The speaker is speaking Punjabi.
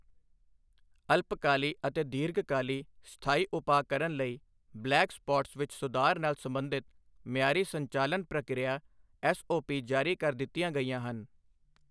ਅਲਪਕਾਲੀ ਅਤੇ ਦੀਰਘਕਾਲੀ ਸਥਾਈ ਉਪਾਅ ਕਰਨ ਲਈ ਬਲੈਕ ਸਪੌਟਸ ਵਿੱਚ ਸੁਧਾਰ ਨਾਲ ਸਬੰਧਿਤ ਮਿਆਰੀ ਸੰਚਾਲਨ ਪ੍ਰਕਿਰਿਆ ਐੱਸਓਪੀ ਜਾਰੀ ਕਰ ਦਿੱਤੀਆਂ ਗਈਆਂ ਹਨ।